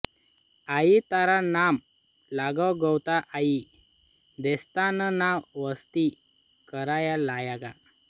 आई तारा नाम लागे गावता आई देस्तांन ना वसती करया लाग्या